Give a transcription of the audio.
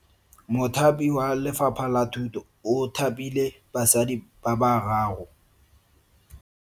Mothapi wa Lefapha la Thuto o thapile basadi ba ba raro.